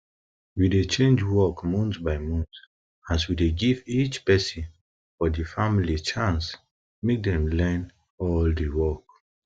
we dey change work month by month as we dey give each peson for di family chance make dem learn all di work